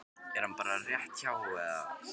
Er hann bara rétt hjá eða?